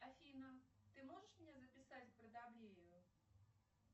афина ты можешь меня записать к брадобрею